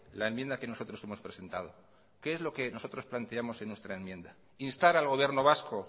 la enmienda que nosotros hemos presentado qué es lo que nosotros planteamos en nuestra enmienda instar al gobierno vasco